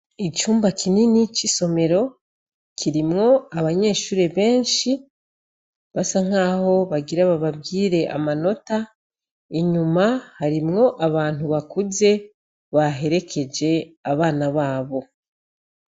Icumba kinini c' isomero, kirimwo abanyeshure benshi, basa nk' aho bagira bababwire amanota, inyuma harimwo abantu bakuze, baherekeje abana babo.